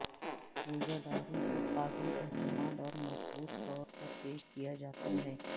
روزہ داروں کو قابل اعتماد اور مضبوط طور پر پیش کیا جاتا ہے